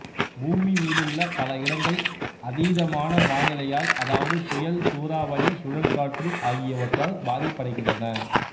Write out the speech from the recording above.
பூமி மீதுள்ள பல இடங்கள் அதீதமான வானிலையால் அதாவது புயல் சூறாவளி சுழல்காற்று ஆகியவற்றால் பாதிப்படைகின்றன